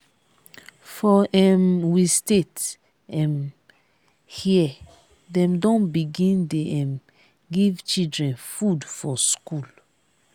for um we state um here dem don begin dey um give children food for skool